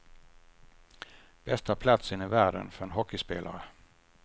Bästa platsen i världen för en hockeyspelare.